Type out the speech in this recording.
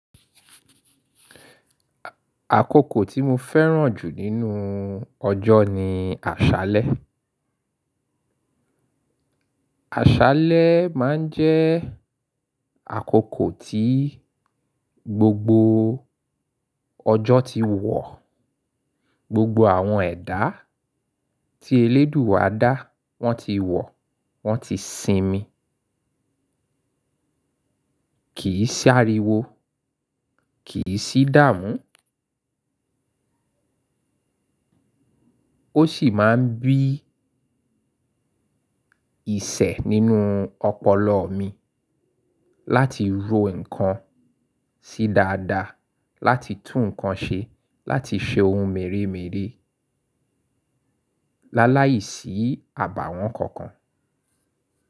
Àkókò tí mo fẹ́ràn jù nínú ọjọ́ ni àṣálẹ́. Àṣálẹ́ máa ń jẹ́ àkókò tí gbogbo ọjọ́ ti wọ̀, gbogbo àwọn ẹ̀dá tí elédùú wa dá wọ́n ti wọ̀, wọ́n ti sinmi. Kì í ṣàríwo, kì í sì dáàmú. Ó sì máa ń bí ìṣẹ́ nínú ọpọlọ mi láti ro nǹkan sí dáadáa, láti tún nǹkan ṣe, láti ṣe ohun mèremère láláìsí àbàwọ́n kankan.